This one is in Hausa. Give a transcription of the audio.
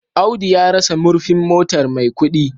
Audu ya rasa murfin motar Maikudi